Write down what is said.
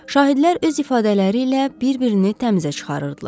Şahidlər öz ifadələri ilə bir-birini təmizə çıxarırdılar.